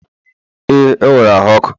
ee, o nwere ahu ọkụ